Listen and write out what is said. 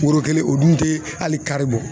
Woro kelen o dun te ali kari bɔ